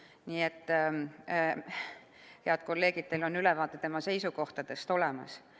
Nii et, head kolleegid, teil on ülevaade tema seisukohtadest olemas.